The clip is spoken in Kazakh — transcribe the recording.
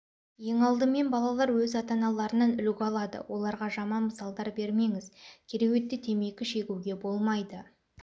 ең алдымен балалар өз ата-аналарынан үлгі алады оларға жаман мысалдар бермеңіз кереуетте темекі шегуге болмайды